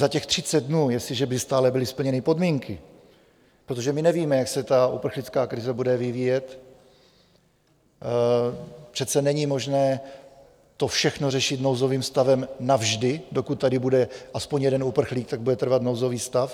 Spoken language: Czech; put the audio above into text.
Za těch 30 dnů, jestliže by stále byly splněny podmínky, protože my nevíme, jak se ta uprchlická krize bude vyvíjet, přece není možné to všechno řešit nouzovým stavem navždy, dokud tady bude aspoň jeden uprchlík, tak bude trvat nouzový stav.